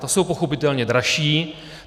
Ta jsou pochopitelně dražší.